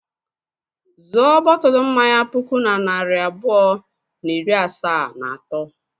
Zụọ bọtụlụ mmanya puku na narị abụọ na iri asaa na atọ.